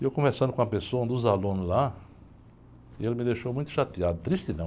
E eu conversando com uma pessoa, um dos alunos lá, e ele me deixou muito chateado, triste não.